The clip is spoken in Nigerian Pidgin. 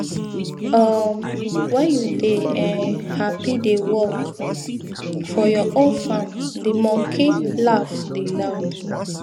um wen you dey um happy dey work for your own farm di monkey laf dey loud